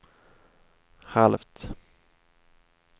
halvt